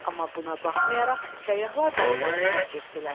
Amma buna baxmayaraq səyyahlar daxmanı tərk etdilər.